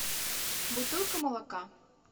бутылка молока